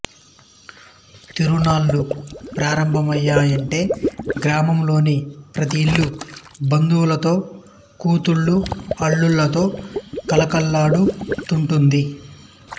తిరుణాళ్ళు ప్రారంభమయ్యాయంటే గ్రామంలోని ప్రతి ఇల్లూ బంధువులతో కూతుళ్ళు అళ్లుళ్లతో కళకళలాడు తుంటుంది